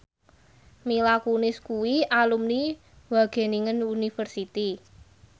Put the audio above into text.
Mila Kunis kuwi alumni Wageningen University